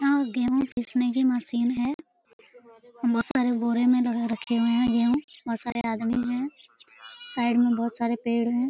यहाँ गेहूं पिसने की मशीन है। बोहोत सारे बोरे में लगा रखे हुए हैं गेहूं बोहोत सारे आदमी हैं। साइड में बोहोत सारे पेड़ है।